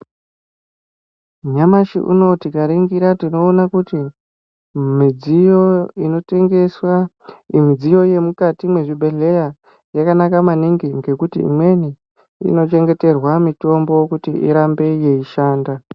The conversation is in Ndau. Nyamashi uno tikaringira tinoona kuti midziyo inotengeswa, midziyo yemukati mezvibhedhleya yakanaka maningi ngekuti imweni inochengeterwa mitombo kuti irambe yeishanda.